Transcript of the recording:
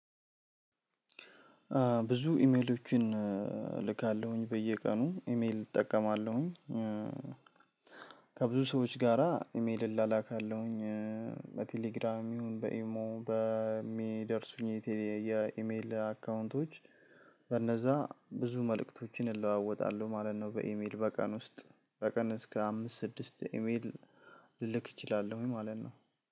ብዙ ኢሜሎችን እልካለሁኝ በየቀኑ ኢሜል እጠቀማለሁኝ። ከብዙ ሰዎች ጋራ ኢሜል እላላካለሁኝ። በቴሌግራም ይሁን በኢሞ በሚደርሱኝ የተለ የኢሜል አካውንቶች በእነዛ ብዙ መልእክቶችን እለዋወጣለሁ ማለት ነው። በኢሜል በቀን ውስጥ በቀን እስከ አምስት ስድስት ኢሜል ልልክ እችላለሁ ማለት ነው።